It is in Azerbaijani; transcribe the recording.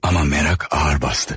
Amma mərak ağır basdı.